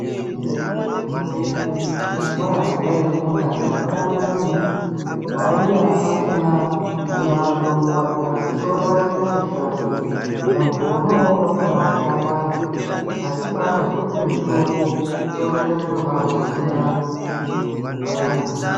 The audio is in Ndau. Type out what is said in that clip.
Nge rimweni gore ku chikora kwandai funda ndakaona muntu waiya asina kumwa mutombo wake asi soro rake rai shata muntu wona iwowo wakabai chaya vantu asi paakazo puwe mutombo soro rake rakabai dzokera parainga.